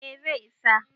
eh zai isa